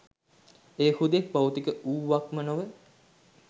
එය හුදෙක් භෞතික වූවක්ම නොව